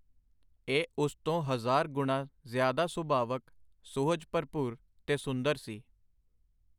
ਇਹ ਉਸ ਤੋਂ ਹਜ਼ਾਰ ਗੁਣਾਂ ਜ਼ਿਆਦਾ ਸੁਭਾਵਕ, ਸੁਹਜ-ਭਰਪੂਰ, ਤੇ ਸੁੰਦਰ ਸੀ.